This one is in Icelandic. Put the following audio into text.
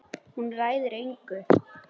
Hún ræður engu.